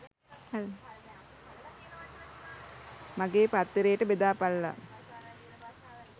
මගේ පාත්තරේට බෙදාපල්ලා.